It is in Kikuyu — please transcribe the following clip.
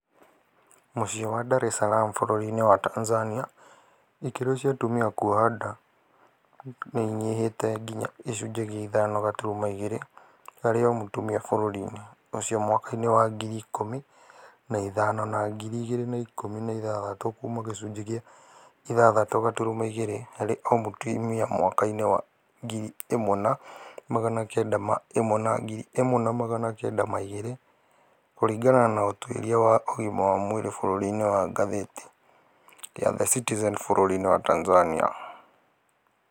Mũciĩ wa Dar es Salaam bũrũri-inĩ wa Tanzania, ikĩro cia atumia kũhota kuoha nda nĩinyihĩte nginya gĩcunjĩ gĩa ithano gaturuma igĩrĩ harĩ o mũtumia bũrũri-inĩ ũcio mwaka-inĩ wa ngiri ikũmi na ithano na ngiri igĩrĩ na ikũmi na ithathatũ kuma gĩcunjĩ gĩa ithathatũ gaturuma igĩrĩ harĩ o mũtumia mwaka-inĩ wa ngiri ĩmwe na magana kenda ma ĩmwe na ngiri ĩmwe na magana kenda ma igĩrĩ kũringana na ũtuĩria wa ũgima wa mwĩri bũrũri-inĩ wa ngathĩti ya The Citizen bũrũri-inĩ wa Tanzania,